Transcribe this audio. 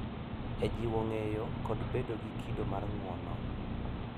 E jiwo ng’eyo kod bedo gi kido mar ng’uono.